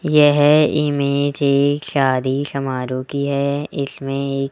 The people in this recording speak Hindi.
यह इमेज एक शादी समारोह की है इसमें एक--